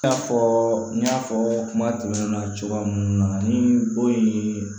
I n'a fɔ n y'a fɔ kuma tɛmɛnen na cogoya mun na ni bon ye